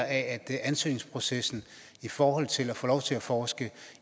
at ansøgningsprocessen i forhold til at få lov til at forske